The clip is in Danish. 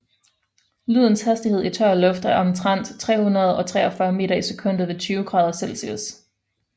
Lydens hastighed i tør luft er omtrent 343 meter i sekundet ved 20 grader celsius